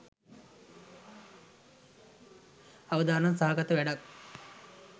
අවදානම් සහගත වැඩක්.